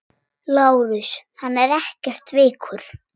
LÁRUS: Hann er ekkert veikur.